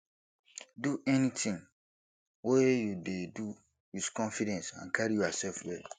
do anything wey you dey do with confidence and carry yourself well